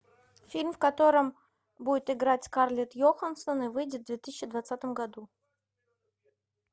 фильм в котором будет играть скарлетт йоханссон и выйдет в две тысячи двадцатом году